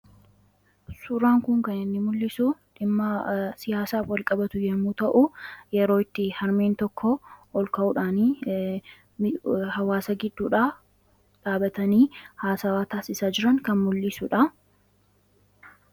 Suuraan kun kan inni mul'isu dhimma siyaasaaf wal qabatu yommuu ta'u yeroo itti harmeen tokko ol ka'uudhaan hawaasa gidduudha dhaabatanii haasawaa taasisaa jiran kan mul'isuudha.